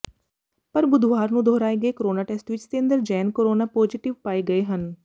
ਪਰ ਬੁੱਧਵਾਰ ਨੂੰ ਦੁਹਰਾਏ ਗਏ ਕੋਰੋਨਾ ਟੈਸਟ ਵਿੱਚ ਸਤੇਂਦਰ ਜੈਨ ਕੋਰੋਨਾ ਪੌਜੇਟਿਵ ਪਏ ਗਏ ਹਨ